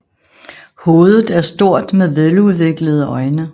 Hovedet er stort med veludviklede øjne